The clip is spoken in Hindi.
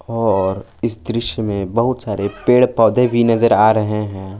और इस दृश्य में बहुत सारे पेड़ पौधें भी नजर आ रहे हैं।